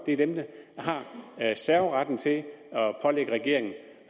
er den der har serveretten til at pålægge regeringen